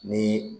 Ni